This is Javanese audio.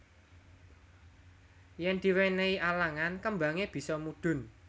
Yen diwenehi alangan kembange bisa mudhun